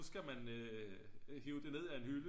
nu skal man hive det ned af en hylde